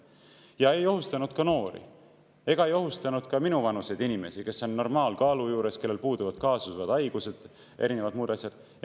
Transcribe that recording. Ei ohustanud ka noori ega minuvanuseid inimesi, kes on normaalkaalu juures ja kellel puuduvad kaasuvad haigused ning muud asjad.